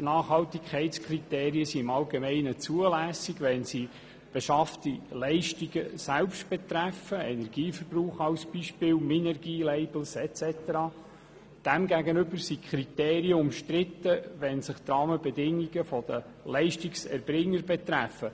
Nachhaltigkeitskriterien sind in der Regel zulässig, wenn sie beschaffte Leistungen selber betreffen, zum Beispiel den Energieverbrauch, Minergie-Labels etc. Demgegenüber sind die Kriterien umstritten, wenn sie die Rahmenbedingungen der Leistungserbringer betreffen,